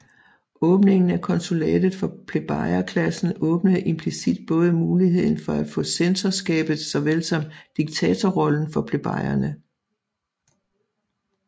Åbningen af konsulatet for plebejerklassen åbnede implicit både muligheden for at få censorskabet såvel som diktatorrollen for plebejerne